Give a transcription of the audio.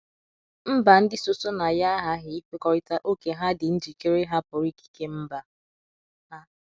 Mba ndị so so na ya aghaghị ikwekọrịta ókè ha dị njikere ịhapụru ikike mba ha.